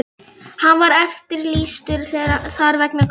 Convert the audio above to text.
Hann var eftirlýstur þar vegna skulda.